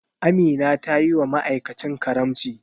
Amina tayiwa ma'aikacin karamci.